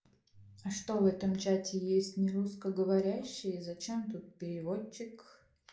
а что в этом чате есть не русскоговорящие зачем тут переводчик